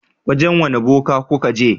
Wajen wane boka kuka je?